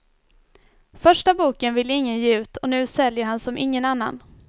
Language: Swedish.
Första boken ville ingen ge ut och nu säljer han som ingen annan.